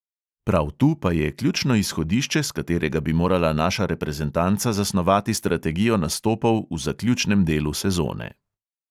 Prav tu pa je ključno izhodišče, s katerega bi morala naša reprezentanca zasnovati strategijo nastopov v zaključnem delu sezone.